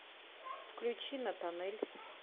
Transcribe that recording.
включи натанэль